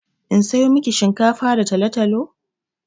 In sayo miki shinkafa da talo-talo?